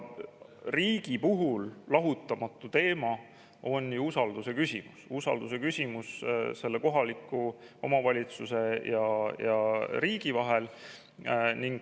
Riigi puhul on lahutamatu teema ju usalduse küsimus, usalduse kohaliku omavalitsuse ja riigi vahel.